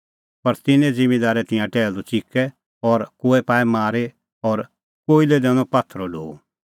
पर तिन्नैं ज़िम्मींदारै तिंयां टैहलू च़िकै और कोई पाऐ मारी और कोई लै दैनअ पात्थरो ढो